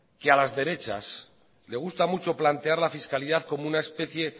que a las derechas les gusta mucho plantear la fiscalidad como una especie